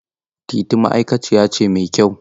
Teetea ma'aikaciya ce mai kyau.